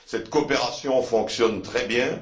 Cette coopération fonctionne très bien.